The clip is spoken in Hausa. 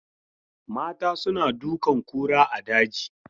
Mata suna dukan kura a daji.